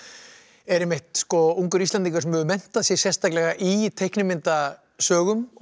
er einmitt ungur Íslendingur sem hefur menntað sig sérstaklega í teiknimyndasögum og